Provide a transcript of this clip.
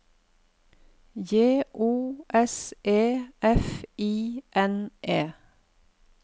J O S E F I N E